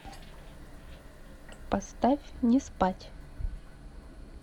поставь не спать